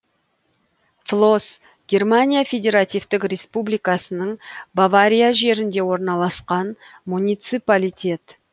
флос германия федеративтік республикасының бавария жерінде орналасқан муниципалитет